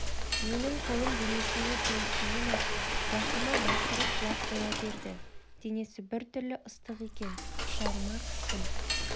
менің қолым денесіне тиісімен-ақ рахима бақырып жылап қоя берді денесі біртүрлі ыстық екен құшағыма қыстым